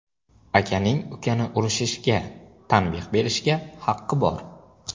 Akaning ukani urushishga, tanbeh berishga haqqi bor.